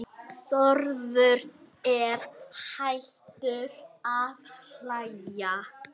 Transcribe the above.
Þórður er hættur að hlæja.